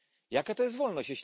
Jaka to jest wolność?